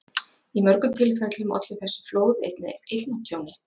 Í mörgum tilfellum ollu þessi flóð einnig eignatjóni.